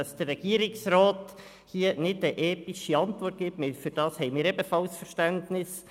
Dass der Regierungsrat hier nicht eine ethische Antwort gibt, dafür haben wir ebenfalls Verständnis.